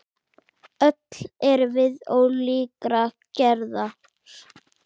Öll erum við ólíkrar gerðar.